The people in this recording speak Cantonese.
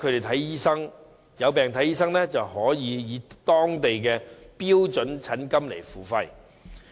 他們有病求診，可以當地的標準診金付費。